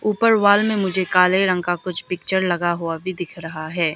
ऊपर वॉल में मुझे काले रंग का कुछ पिक्चर लगा हुआ भी दिख रहा है।